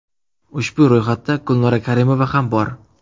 Ushbu ro‘yxatda Gulnora Karimova ham bor.